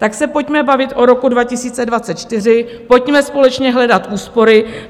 Tak se pojďme bavit o roku 2024, pojďme společně hledat úspory.